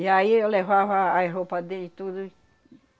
E aí eu levava as roupas dele tudo.